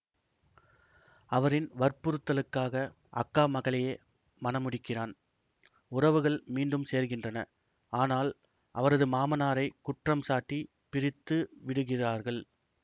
அவரின் வற்புறுத்தலுக்காக அக்கா மகளையே மணமுடிக்கிறான் உறவுகள் மீண்டும் சேர்கின்றன ஆனால் அவரது மாமனாரைக் குற்றம் சாட்டி பிரித்து விடுகிறார்கள்